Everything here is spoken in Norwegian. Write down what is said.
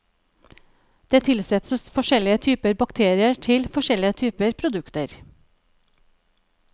Det tilsettes forskjellige typer bakterier til forskjellige typer produkter.